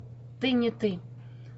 ты не ты